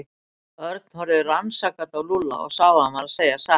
Örn horfði rannsakandi á Lúlla og sá að hann var að segja satt.